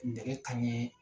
Nɛgɛ kan ɲɛ